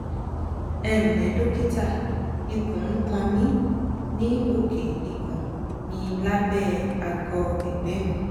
ẹ ǹlẹ dókítà ikùn ń kan mí ní òkè ikùn milábẹ àgọ ẹgbẹ mi